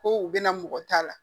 Ko u bɛna mɔgɔ ta la